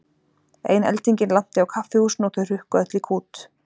Ein eldingin lanti á kaffihúsinu og þau hrukku öll í kút.